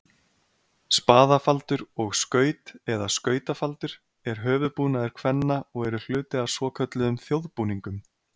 Spaðafaldur og skaut, eða skautafaldur, er höfuðbúnaður kvenna og eru hluti af svokölluðum þjóðbúningum.